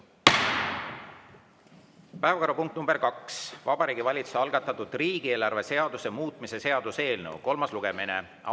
Teine päevakorrapunkt: Vabariigi Valitsuse algatatud riigieelarve seaduse muutmise seaduse eelnõu kolmas lugemine.